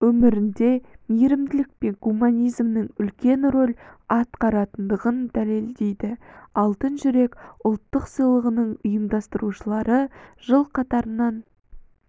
өмірінде мейірімділік пен гуманизмнің үлкен рөл атқаратындығын дәлелдейді алтын жүрек ұлттық сыйлығының ұйымдастырушылары жыл қатарынан